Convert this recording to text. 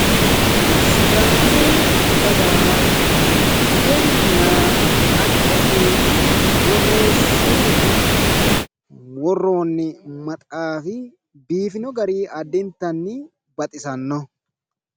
sidaamu dagaha budenna xaggese borreessine worroonni maxaafi biifino gari addintanni baxisannoho.